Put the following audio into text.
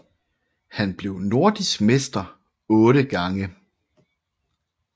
Han blev nordisk mester otte gange